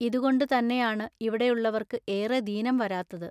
ഇതുകൊണ്ടു തന്നെയാണു ഇവിടെയുള്ളവൎക്കു ഏറെ ദീനം വരാത്തതു.